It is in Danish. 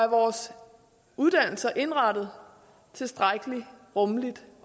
vores uddannelser er indrettet tilstrækkelig rummeligt